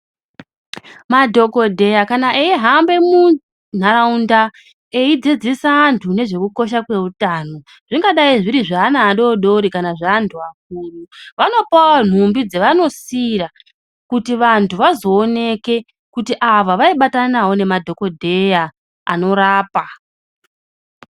Madhokoteya kana eihamba mundaraunda eidzidzisa vantu ngezveutano zvingadai zviri zveana adodori kana zveantu akuru vanopawo nhumbi dzavanosiira kuti vantu vazooneke kuti ava vaibatana navo madhokoteya anorapa.